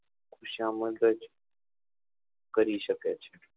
ખુશામાંગજ કરી શકે છે